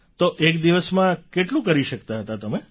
તો એક દિવસમાં કેટલું કરી શકતાં હતાં તમે